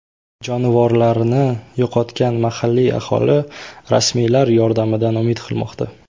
Jonivorlarini yo‘qotgan mahalliy aholi rasmiylar yordamidan umid qilmoqda.